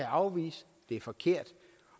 afvise det er forkert